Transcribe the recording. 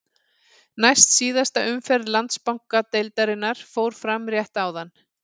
Næst síðasta umferð Landsbankadeildarinnar fór fram rétt áðan.